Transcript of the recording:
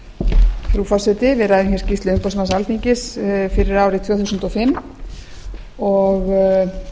frú forseti við ræðum skýrslu umboðsmanns alþingis fyrir árið tvö þúsund og